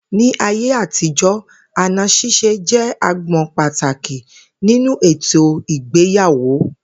Ní ayé àtijó̩, àna s̩ís̩e jé̩ agbo̩n pàtàkì nínú ètò ìgbéyàwò